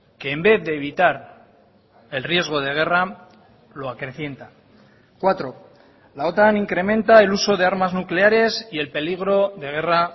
que en vez de evitar el riesgo de guerra lo acrecienta cuatro la otan incrementa el uso de armas nucleares y el peligro de guerra